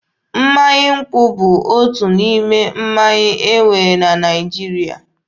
Mmanya nkwụ bụ otu n'ime mmanya e nwere na Naịjirịa.